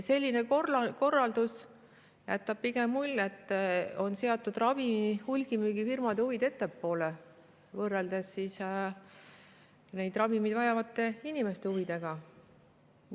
Selline korraldus jätab mulje, et hulgimüügifirmade huvid on seatud ettepoole ravimeid vajavate inimeste huvidest.